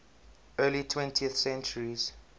early twentieth centuries